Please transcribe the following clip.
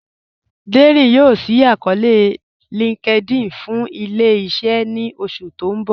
Dẹ́rín yoo ṣí àkọọ̀lẹ̀ linkedIn fún ilẹ̀-iṣẹ̀ ní oṣù tí n bọ̀.